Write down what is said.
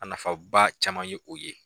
A nafa ba caman ye o ye